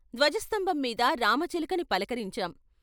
ధ్వజ సంభంమీద రామచిలకని పలకరించాం.